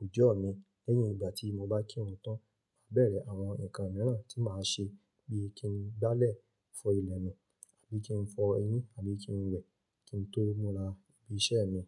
òjọ́ mi. Lẹ́yìn ìgbà tí mo bá kírun tán, màá bẹ̀rẹ̀ àwọn nǹkan mìíràn tí màá ṣe bí i kí n gbálẹ̀, fọ ilẹ̀ mi àbí kí n fọ eyín àbí kí n wẹ̀ kí n tó múra bí i iṣẹ́ mi.